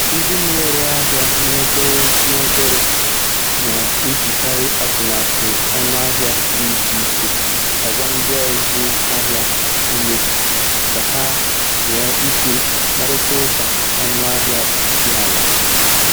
Ndị na-ere ahịa n'obere n'obere na-ejikarị atụmatụ ọnụahịa dị iche iche agba ndị ọzụ ahịa ume ka ha nwee ike kparịta ụka ọnụahịa dị ala.